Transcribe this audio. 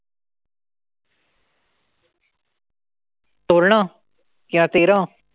तोरणं? किंवा